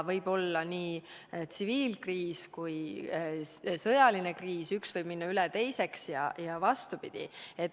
Võib olla nii tsiviilkriis kui ka sõjaline kriis, üks võib üle minna teiseks ja vastupidi.